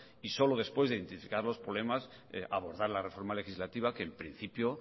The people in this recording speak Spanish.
y solo después de identificar los problemas abordar la reforma legislativa que en principio